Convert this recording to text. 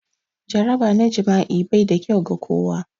Jaraba na jima'i bai da kyau wa kowa.